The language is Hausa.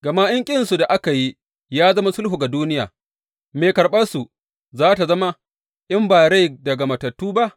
Gama in ƙinsu da aka yi ya zama sulhu ga duniya, me karɓarsu za tă zama in ba rai daga matattu ba?